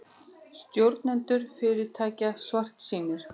Stjórnendur fyrirtækja svartsýnir